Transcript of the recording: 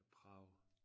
Prag